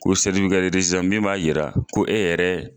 Ko' min b'a yira ko e yɛrɛ.